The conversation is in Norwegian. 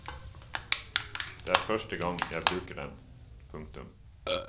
Det er første gang jeg bruker den. punktum